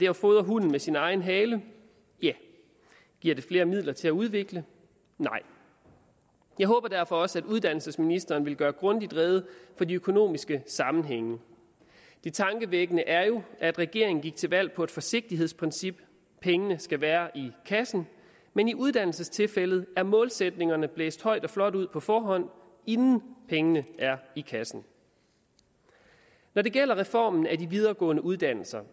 at fodre hunden med sin egen hale ja giver det flere midler til at udvikle nej jeg håber derfor også at uddannelsesministeren vil gøre grundigt rede for de økonomiske sammenhænge det tankevækkende er jo at regeringen gik til valg på et forsigtighedsprincip pengene skal være i kassen men i uddannelsestilfældet er målsætningerne blæst højt og flot ud på forhånd inden pengene er i kassen når det gælder reformen af de videregående uddannelser